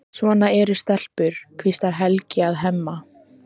Svona eru stelpur, hvíslar Helgi að Hemma.